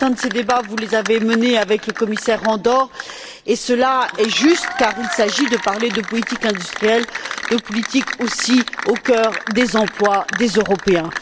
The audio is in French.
Certains de ces débats, vous les avez menés avec le commissaire Andor, ce qui est juste, car il s'agit de parler de politique industrielle, de politique également au cœur des emplois des Européens.